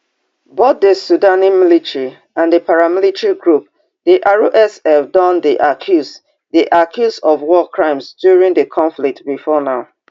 both di sudanese military and di paramilitary group di rsf don dey accused dey accused of war crimes during di conflict before now